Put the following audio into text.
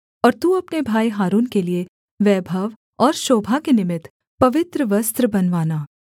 और तू अपने भाई हारून के लिये वैभव और शोभा के निमित्त पवित्र वस्त्र बनवाना